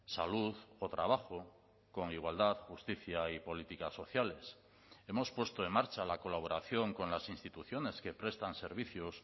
salud o trabajo con igualdad justicia y políticas sociales hemos puesto en marcha la colaboración con las instituciones que prestan servicios